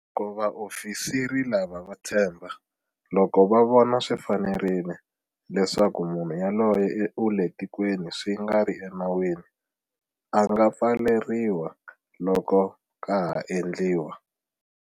Loko vaofisiri lava va tshemba, loko va vona swi fanerile, leswaku munhu yoloye u le tikweni swi nga ri enawini, a nga pfaleriwa loko ka ha endliwa.